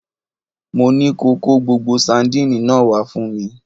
Mo ní ko Kó gbogbo sandínì náà wá fún mi!